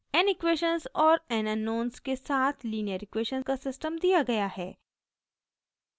n equations और n unknowns के साथ लीनियर इक्वेशन का सिस्टम दिया गया है